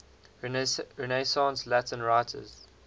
renaissance latin writers